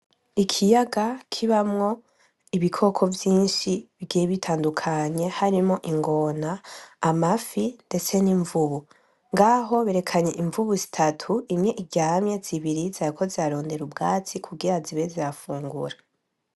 Ikiyaga kibamwo ibikoko vyinshi bigiye bitandukanye harimwo ingona, amafi ndetse n'imvubu. ngaho berekanye imvubu zitatu imwe iryamye zibiri zariko zirarondera ubwatsi kugira zibe zirafungura.